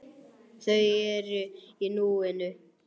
Þau eru í núinu.